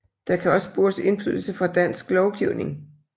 Der kan også spores indflydelse fra dansk lovgivning